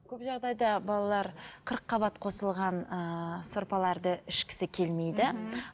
көп жағдайда балалар қырыққабат қосылған ыыы сорпаларды ішкісі келмейді